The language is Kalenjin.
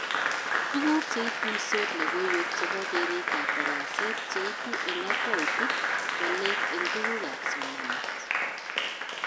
Tuguk cheituisot logoiwek chebo keretab daraset cheibu eng akautit walet eng tugukab somanet